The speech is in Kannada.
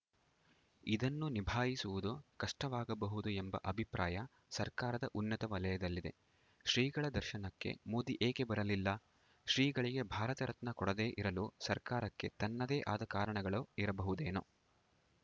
ಇದನ್ನು ನಿಭಾಯಿಸುವುದು ಕಷ್ಟವಾಗಬಹುದು ಎಂಬ ಅಭಿಪ್ರಾಯ ಸರ್ಕಾರದ ಉನ್ನತ ವಲಯದಲ್ಲಿದೆ ಶ್ರೀಗಳ ದರ್ಶನಕ್ಕೆ ಮೋದಿ ಏಕೆ ಬರಲಿಲ್ಲ ಶ್ರೀಗಳಿಗೆ ಭಾರತರತ್ನ ಕೊಡದೇ ಇರಲು ಸರ್ಕಾರಕ್ಕೆ ತನ್ನದೇ ಆದ ಕಾರಣಗಳು ಇರಬಹುದೇನೋ